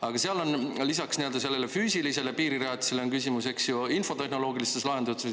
Aga seal on lisaks sellele füüsilisele piirirajatisele küsimus, eks ju, infotehnoloogilistes lahendustes.